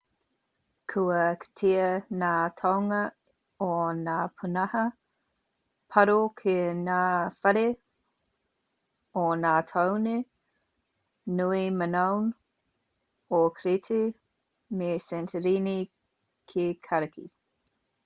kua kitea ngā toenga o ngā pūnaha paru ki ngā whare o ngā tāone nui minoan o crete me santorini ki kariki